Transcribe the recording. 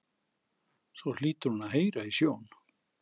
Svo hlýtur hún að heyra í sjón